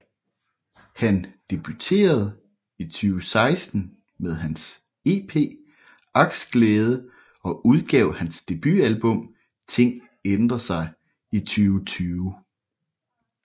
Han debuterede i 2016 med hans af EP Aksglæde og udgav hans debutalbum Ting Ændrer Sig i 2020